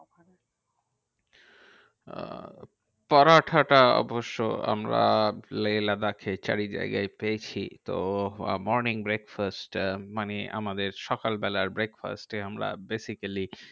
আহ পরোটাটা অবশ্য আমরা লেহ লাদাখে চারিজায়গায় পেয়েছি। তো morning breakfast আহ মানে আমাদের সকালবেলার breakfast এ আমরা basically